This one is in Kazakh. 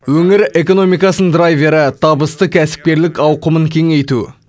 өңір экономикасының драйвері табысты кәсіпкерлік ауқымын кеңейту